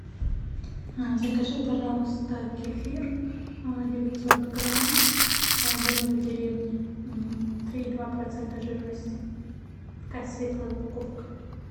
закажи пожалуйста кефир девятьсот грамм домик в деревне три и два процента жирности такая светлая упаковка